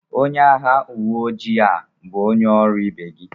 Onye agha uwe ojii a bụ onye ọrụ ibe gị..